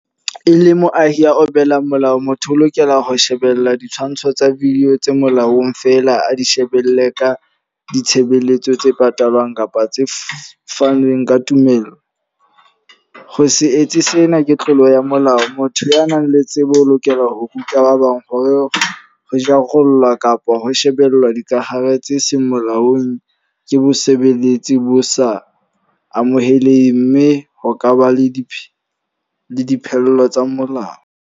E le moahi a opelang molao. Motho o lokela ho shebella ditshwantsho tsa video tse molaong fela, a di shebelle ka ditshebeletso tse patalwang kapa tse fanang ka tumelo. Ho se etse sena ke tlolo ya molao. Motho ya nang le tsebo o lokela ho ruta ba bang hore re jarollla kapa ho shebella dikahare tse seng molaong ke bosebetsi bo sa amohelweng. Mme ho ka ba le di dipheello tsa molao.